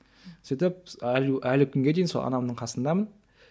сөйтіп әлі әлі күнге дейін сол анамның қасындамын